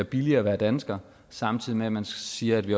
billigere at være dansker samtidig med man siger at vi